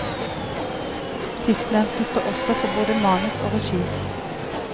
Sistnevnte står også for både manus og regi.